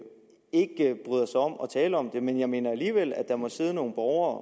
bryder sig om at tale om det men jeg mener alligevel at der må sidde nogle borgere